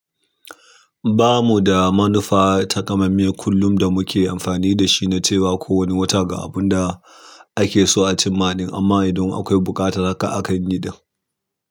Ba mu da manufa ta kamammie kullum da muke amfani da shi na cewa ko wani wata ga abun da ake so a cim ma ɗin, amma idan akwai buƙatar haka akan yi ɗin.